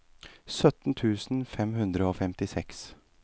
sytten tusen fem hundre og femtiseks